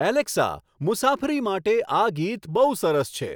Alexa મુસાફરી માટે આ ગીત બહુ સરસ છે